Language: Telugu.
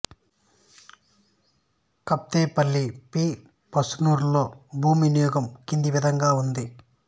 కేత్పల్లి పి పస్నూర్లో భూ వినియోగం కింది విధంగా ఉంది